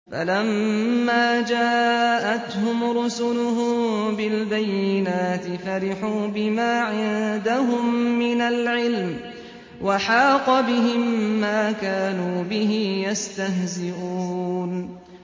فَلَمَّا جَاءَتْهُمْ رُسُلُهُم بِالْبَيِّنَاتِ فَرِحُوا بِمَا عِندَهُم مِّنَ الْعِلْمِ وَحَاقَ بِهِم مَّا كَانُوا بِهِ يَسْتَهْزِئُونَ